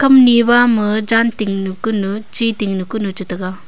kamni bama jan tinknu kunu chi tinknu kunu chetega.